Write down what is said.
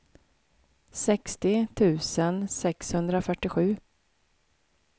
sextio tusen sexhundrafyrtiosju